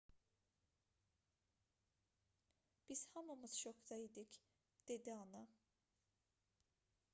biz hamımız şokda idik dedi ana